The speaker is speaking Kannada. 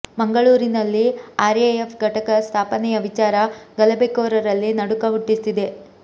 ಮಂಗಳೂರಿನಲ್ಲಿ ಆರ್ ಎ ಎಫ್ ಘಟಕ ಸ್ಥಾಪನೆಯ ವಿಚಾರ ಗಲಭೆ ಕೋರರಲ್ಲಿ ನಡುಕ ಹುಟ್ಟಿಸಿದೆ